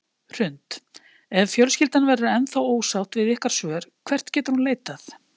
Hrund: Ef fjölskyldan verður ennþá ósátt við ykkar svör, hvert getur hún leitað?